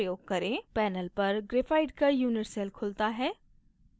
panel पर graphite का unit cell खुलता है